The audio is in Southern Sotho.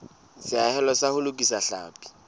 seahelo sa ho lokisa tlhapi